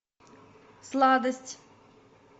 сладость